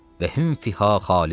Və hüm fihə xalidun.